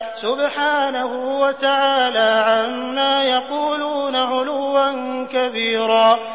سُبْحَانَهُ وَتَعَالَىٰ عَمَّا يَقُولُونَ عُلُوًّا كَبِيرًا